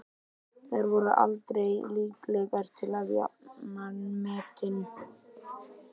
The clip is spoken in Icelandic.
Þær voru aldrei líklegar til að jafna metin.